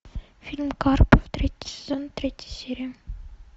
фильм карпов третий сезон третья серия